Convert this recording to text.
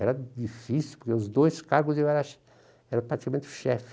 Era difícil, porque os dois cargos eu era era praticamente o chefe.